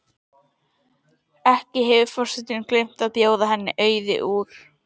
Ekki hefur forsetinn gleymt að bjóða henni Auði úr